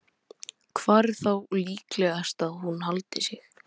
Hvar er þá líklegast að hún haldi sig?